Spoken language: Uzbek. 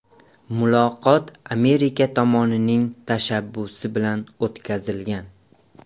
Muloqot Amerika tomonining tashabbusi bilan o‘tkazilgan.